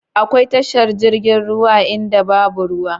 Akwai tashar jirgin ruwa a inda babu ruwa?